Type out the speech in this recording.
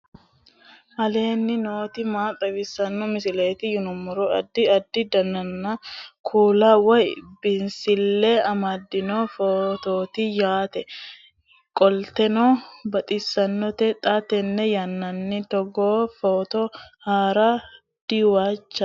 aleenni nooti maa xawisanno misileeti yinummoro addi addi dananna kuula woy biinsille amaddino footooti yaate qoltenno baxissannote xa tenne yannanni togoo footo haara danvchate